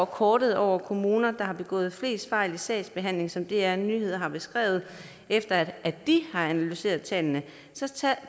kortet over kommuner der har begået flest fejl i sagsbehandlingen som dr nyheder har beskrevet efter de har analyseret tallene